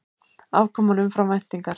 Afkoman umfram væntingar